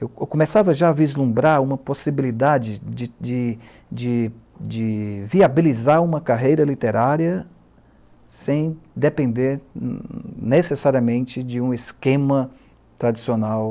Eu eu começava já a vislumbrar uma possibilidade de de de de viabilizar uma carreira literária sem depender necessariamente de um esquema tradicional